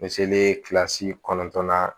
Me seleri kilasi kɔnɔntɔnnan